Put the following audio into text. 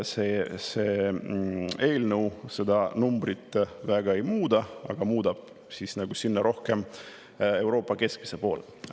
See eelnõu seda numbrit väga ei muuda, aga muudab siiski rohkem Euroopa keskmise poole.